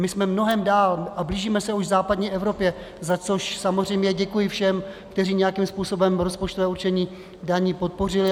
My jsme mnohem dál a blížíme se už západní Evropě, za což samozřejmě děkuji všem, kteří nějakým způsobem rozpočtové určení daní podpořili.